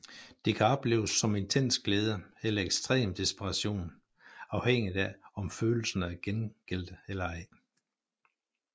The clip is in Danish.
Det kan opleves som intens glæde eller ekstrem desperation afhængigt af om følelserne er gengældte eller ej